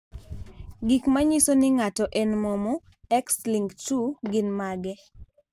Gik manyiso ni ng'ato en momo, X-linked 2 gin mage?